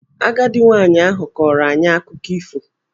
Agadi nwaanyị ahụ kọọrọ anyị akụkọ ifo.